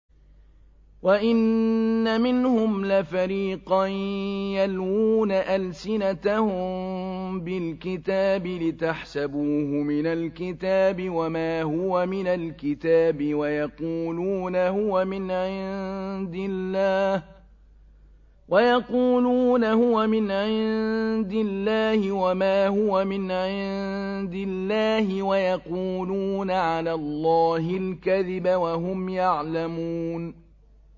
وَإِنَّ مِنْهُمْ لَفَرِيقًا يَلْوُونَ أَلْسِنَتَهُم بِالْكِتَابِ لِتَحْسَبُوهُ مِنَ الْكِتَابِ وَمَا هُوَ مِنَ الْكِتَابِ وَيَقُولُونَ هُوَ مِنْ عِندِ اللَّهِ وَمَا هُوَ مِنْ عِندِ اللَّهِ وَيَقُولُونَ عَلَى اللَّهِ الْكَذِبَ وَهُمْ يَعْلَمُونَ